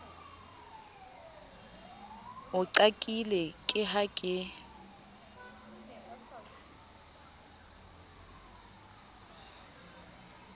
o qakile ke ha ke